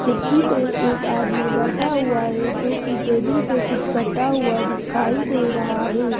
कुर्सी पे एक आदमी बैठा हुआ है जो कि टेबल पे कुछ करता हुआ दिखाई दे रहा है।